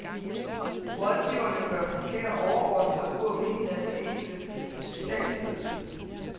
Rådgiverne bør fungere overordnet og uafhængigt af de enkelte hospitalsledelser.